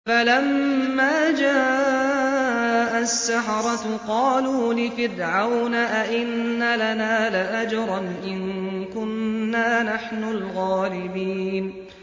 فَلَمَّا جَاءَ السَّحَرَةُ قَالُوا لِفِرْعَوْنَ أَئِنَّ لَنَا لَأَجْرًا إِن كُنَّا نَحْنُ الْغَالِبِينَ